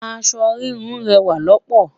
aṣọ híhun rẹwa loopo